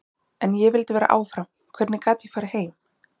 En ég vildi vera áfram, hvernig gat ég farið heim?